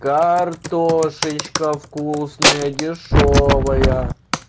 картошечка вкусная дешёвая